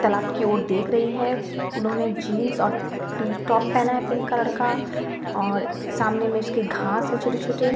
तालाब की ओर देख रही है उन्होंने जींस और टी टॉप पहना है पिंक कलर का और सामने में उसके घास है छोटे-छोटे।